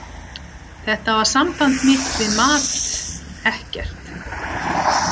Þetta var samband mitt við mat, ekkert.